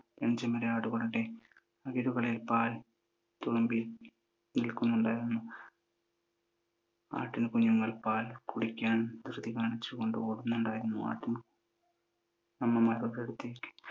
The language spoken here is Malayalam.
പെൺചെമ്മരിയാടുകളുടെ അകിടുകളിൽ പാൽ തുളുമ്പി നിൽക്കുന്നുണ്ടായിരുന്നു. ആട്ടിൻ കുഞ്ഞുങ്ങൾ പാൽ കുടിക്കാൻ ധൃതി കാണിച്ചു കൊണ്ട് ഓടുന്നുണ്ടായിരുന്നു, ആട്ടിൻ അമ്മമാരുടെ അടുത്തേക്ക്